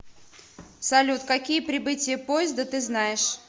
салют какие прибытие поезда ты знаешь